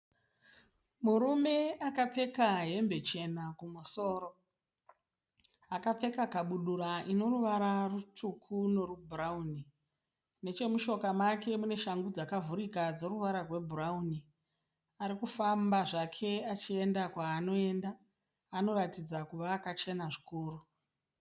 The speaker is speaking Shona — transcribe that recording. Murume akapfeka hembe chena kumusoro, akapfeka kabudura inoruvara rutsvuku nebhurauni nechemutsoka make muneshangu dzakavhurika dzinetuvata rwebhurauni. Arikufamba zvake achienda kwaanoenda, anoratidza kuti akachena zvikuru.